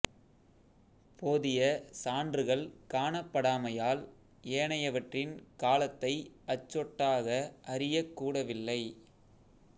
போதிய சான்றுகள் காணப்படாமையால் ஏனையவற்றின் காலத்தை அச்சொட்டாக அறியக் கூடவில்லை